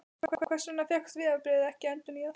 En hvers vegna fékkst vegabréfið ekki endurnýjað?